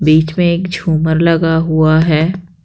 बीच में एक छूमर लगा हुआ है।